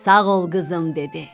Sağ ol, qızım dedi.